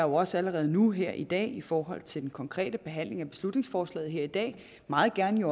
også allerede nu her i dag altså i forhold til den konkrete behandling af beslutningsforslaget her i dag meget gerne